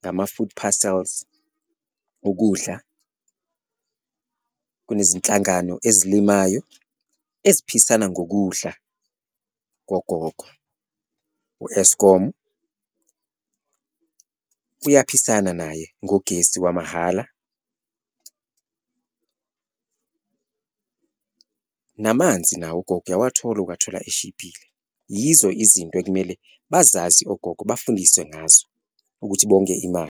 ngama-food parcels, ukudla kunezinhlangano ezilimalayo eziphisana ngokudla kogogo, u-Eskom uyaphisana naye ngogesi wamahhala, namanzi nawo ugogo uyawathola ukuwathola eshibhile, yizo izinto ekumele bazazi ogogo bafundiswe ngazo ukuthi bonge imali.